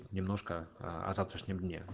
немножко аа о завтрашнем дне